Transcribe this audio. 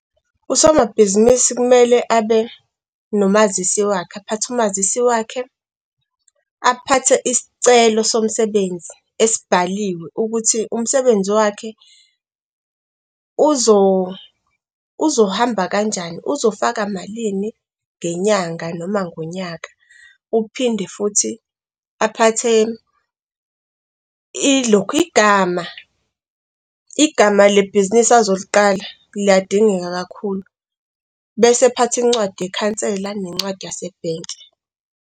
Usomabhizinisi kumele abe nomazisi wakhe, aphathe umazisi wakhe, aphathe isicelo somsebenzi esibhaliwe ukuthi umsebenzi wakhe uzohamba kanjani. Uzofaka malini ngenyanga noma ngonyaka uphinde futhi aphathe ilokhu igama, igama lebhizinisi azoliqala liyadingeka kakhulu, bese aphathe incwadi yeKhansela, nencwadi yase-bank-i.